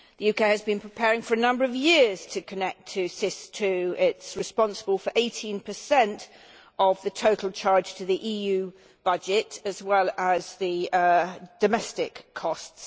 The UK has been preparing for a number of years to connect to SIS II. It is responsible for 18 of the total charge to the EU budget as well as the domestic costs.